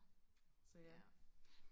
så ja